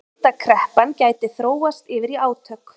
Skuldakreppan gæti þróast yfir í átök